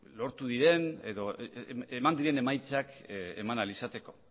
lortu diren edo eman diren emaitzak eman ahal izateko